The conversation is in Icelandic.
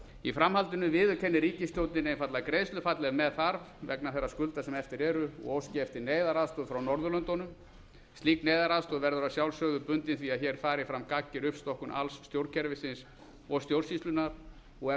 í framhaldinu viðurkenni ríkisstjórnin einfaldlega greiðslufall ef með þarf vegna þeirra skulda sem eftir eru og óski eftir neyðaraðstoð frá norðurlöndunum slík neyðaraðstoð verður að sjálfsögðu bundin því að hér fari fram gagnger uppstokkun alls stjórnkerfisins og stjórnsýslunnar og er